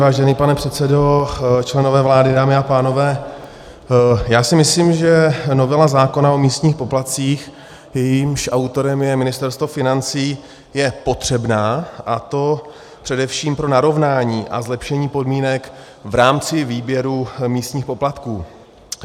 Vážený pane předsedo, členové vlády, dámy a pánové, já si myslím, že novela zákona o místních poplatcích, jejímž autorem je Ministerstvo financí, je potřebná, a to především pro narovnání a zlepšení podmínek v rámci výběru místních poplatků.